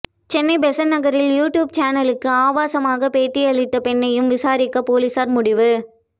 Chennai Besant நகரில் YouTube சேனலுக்கு ஆபாசமாக பேட்டியளித்த பெண்ணையும் விசாரிக்க போலீசார் முடிவு